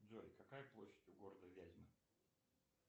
джой какая площадь у города вязьма